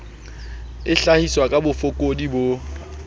e hlahiswa ka bofokodi bo